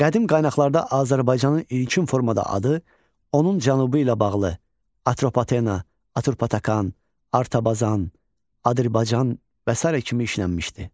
Qədim qaynaqlarda Azərbaycanın ilkin formada adı onun cənubu ilə bağlı Atropatena, Aturpatakan, Artabazan, Adərbaycan və sairə kimi işlənmişdir.